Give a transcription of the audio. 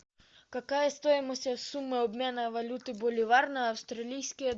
какая стоимость суммы обмена валюты боливар на австралийские